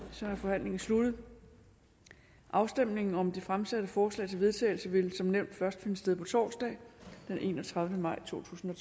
så er forhandlingen sluttet afstemningen om det fremsatte forslag til vedtagelse vil som nævnt først finde sted på torsdag den enogtredivete maj totusinde